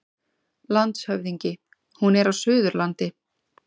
LANDSHÖFÐINGI: Hún er á Suðurlandi.